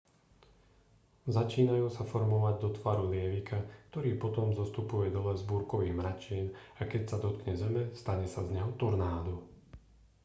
začínajú sa formovať do tvaru lievika ktorý potom zostupuje dole z búrkových mračien a keď sa dotkne zeme stane sa z neho tornádo